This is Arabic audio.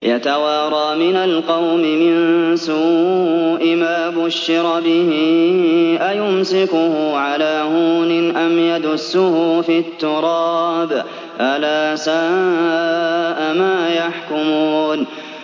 يَتَوَارَىٰ مِنَ الْقَوْمِ مِن سُوءِ مَا بُشِّرَ بِهِ ۚ أَيُمْسِكُهُ عَلَىٰ هُونٍ أَمْ يَدُسُّهُ فِي التُّرَابِ ۗ أَلَا سَاءَ مَا يَحْكُمُونَ